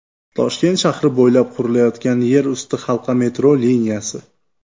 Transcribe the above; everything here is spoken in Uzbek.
Toshkent shahri bo‘ylab qurilayotgan yer usti halqa metro liniyasi.